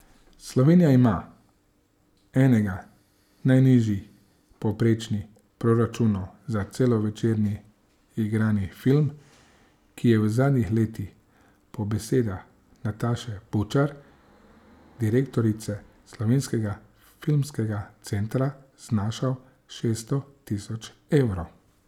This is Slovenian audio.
Slovenija ima enega najnižjih povprečnih proračunov za celovečerni igrani film, ki je v zadnjih letih po besedah Nataše Bučar, direktorice Slovenskega filmskega centra, znašal šeststo tisoč evrov.